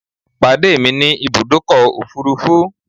Pàdé mi ní Ibùdọ́kọ̀ òfurufú